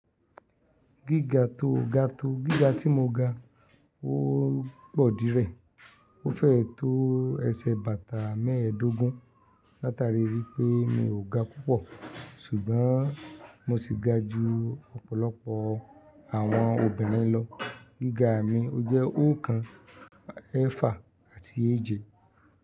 Gíga tó ga tó, gíga tí mo ga, ó pọ̀ dí rẹ̀. Ó fẹ́ tó ẹsẹ̀ bàtà mẹ́ẹ̀ẹ́dógún, látari rí pé mi ò ga púpọ̀, ṣùgbọ́n mo sì ga ju ọ̀pọ̀lọpọ̀ àwọn obìnrin lọ. Gíga mi jẹ́ òókàn, ẹẹ́fà àti èje.